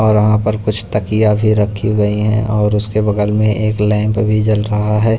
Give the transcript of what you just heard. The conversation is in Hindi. और वहां पर कुछ तकिया भी रखी गई हैं और उसके बगल में एक लैंप भी जल रहा है।